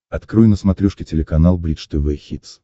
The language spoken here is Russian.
открой на смотрешке телеканал бридж тв хитс